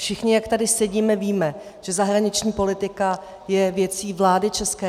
Všichni, jak tady sedíme, víme, že zahraniční politika je věcí vlády ČR.